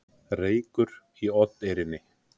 Reykur í Oddeyrinni